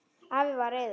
Afi var reiður.